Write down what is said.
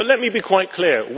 Let me be quite clear.